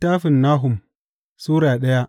Nahum Sura daya